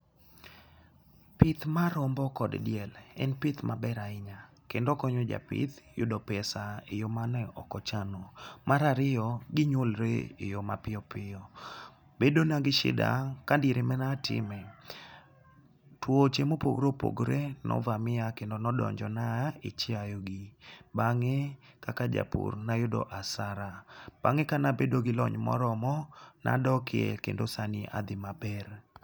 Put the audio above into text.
Pith mar rombo kod diel en pith maber ahinya kendo okonyo japith yudo pesa eyoo mane ok ochano. Mar riyo ginywolre e yoo mapiyo piyo bedo na gi shida ka diere manatime tuoche mopogore opogre no vamia kendo nodonjo na e chiayo gi. Bang'e kaka japur nayudo asara bang'e kanabedo gi lony moromo nadoke kendo sani adhi maber.